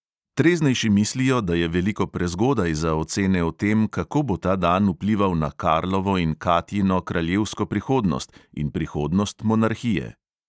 Treznejši mislijo, da je veliko prezgodaj za ocene o tem, kako bo ta dan vplival na karlovo in katjino kraljevsko prihodnost in prihodnost monarhije.